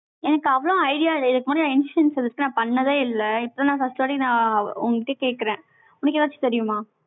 எனக்கு அவ்வளவு idea இல்ல. இதுக்கு முன்னாடி insurance இருந்துச்சு, நான் பண்ணதே இல்லை. இப்ப நான் first வாட்டி, நான் உன்கிட்ட கேட்கிறேன். உனக்கு ஏதாச்சும் தெரியுமா?